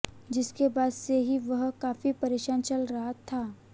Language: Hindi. जिसके बाद से ही वह काफी परेशान चल रहा था